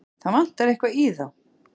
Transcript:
Það vantar eitthvað í þá.